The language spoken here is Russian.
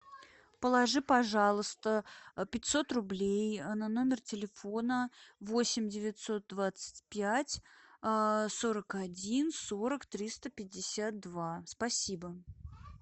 положи пожалуйста пятьсот рублей на номер телефона восемь девятьсот двадцать пять сорок один сорок триста пятьдесят два спасибо